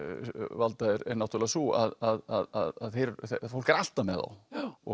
valda er náttúrulega sú að fólk er alltaf með þá og